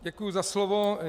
Děkuji za slovo.